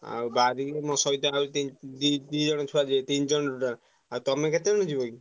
ଆଉ ବାହାରିକି ମୋ ସହିତ ଆଉ ତିନି ଦି ଦି ଜଣ ଛୁଆ ଯିବେ ତିନି ଜଣ total ଆଉ ତମେ କେତଜଣ ଯିବ କି?